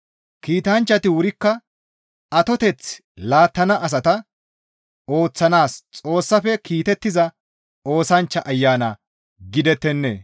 Kiitanchchati wurikka atoteth laattana asata ooththanaas Xoossafe kiitettiza oosanchcha Ayana gidettennee?